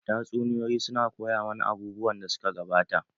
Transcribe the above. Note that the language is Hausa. Tatsuniyoyi su na koya mana abubuwan da suka gabata.